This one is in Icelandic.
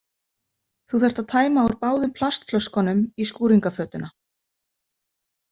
Þú þarft að tæma úr báðum plastflöskunum í skúringafötuna.